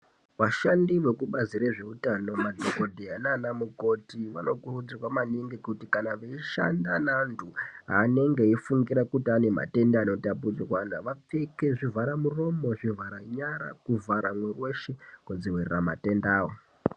Vashandi vekubazi rezveutano madhokotera nanamukoti vanokuridzirwa maningi kuti kana veishande nevandu vanenge veifungira kuti ane matenda anotapurirana anokuridzirwa kuti vavpfeke zvivhara muroromo zvivhara nyara kuvhara mwiri weshe kudzivirira matendawo.